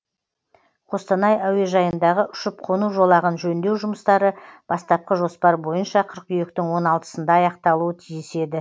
қостанай әуежайындағы ұшып қону жолағын жөндеу жұмыстары бастапқы жоспар бойынша қыркүйектің он алтысында аяқталуы тиіс еді